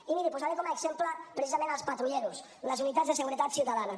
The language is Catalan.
i miri posaré com a exemple precisament els patrulleros les unitats de seguretat ciutadana